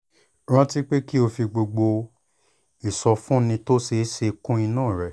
rántí pé kí o fi gbogbo ìsọfúnni tó ṣeé ṣe kún inú rẹ̀